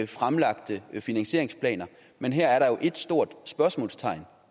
fremlagte finansieringsplan men her er der jo et stort spørgsmålstegn